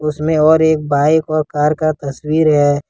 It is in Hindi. उसमें और एक बाइक और कार का तस्वीर है।